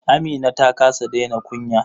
Amina ta kasa daina kunya.